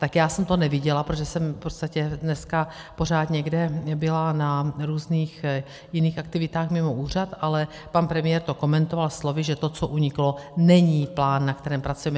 Tak já jsem to neviděla, protože jsem v podstatě dneska pořád někde byla na různých jiných aktivitách mimo úřad, ale pan premiér to komentoval slovy, že to, co uniklo, není plán, na kterém pracujeme.